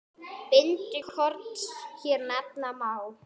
Bindi korns hér nefna má.